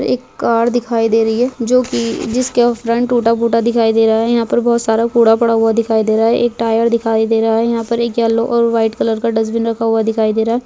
एक कार दिखाई दे रही है जो की जिस का फ्रंट टुटा फूटा दिखाई दे रहा है यहा पर बहुत सारा कूड़ा पड़ा हुआ दिखाई दे रहा हैं एक टायर दिखाई दे रहा है यह पर एक येल्लो और वाइट कलर का डस्टबिन रखा हुआ दिखाई दे रहा है।